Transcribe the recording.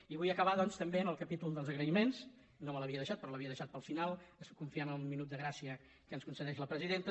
i vull acabar doncs també amb el capítol dels agraïments no me l’havia deixat però l’havia deixat pel final confiant en el minut de gràcia que es concedeix la presidenta